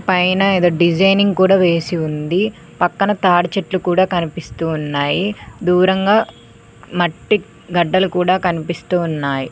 పైన ఎదో డిజైనింగ్ కూడా వేసి ఉంది పక్కన తాడిచెట్లు కూడా కనిపిస్తూ ఉన్నాయి దూరంగా మట్టి గడ్డలు కూడా కనిపిస్తూ వున్నాయ్.